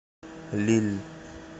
лилль